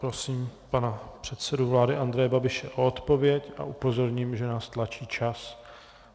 Prosím pana předsedu vlády Andreje Babiše o odpověď a upozorním, že nás tlačí čas.